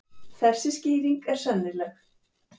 Þessi skýring er sennileg.